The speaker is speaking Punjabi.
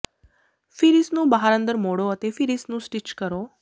ਫਿਰ ਇਸ ਨੂੰ ਬਾਹਰ ਅੰਦਰ ਮੋੜੋ ਅਤੇ ਫਿਰ ਇਸ ਨੂੰ ਸਟਿਚ ਕਰੋ